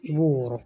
I b'o wɔrɔn